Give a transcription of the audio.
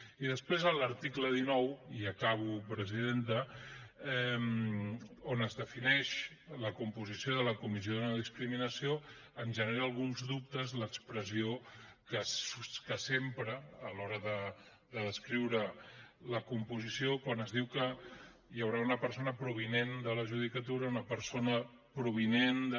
i després a l’article dinou i acabo presidenta on es defineix la composició de la comissió de no discriminació ens genera alguns dubtes l’expressió que s’empra a l’hora de descriure’n la composició quan es diu que hi haurà una persona provinent de la judicatura una persona provinent de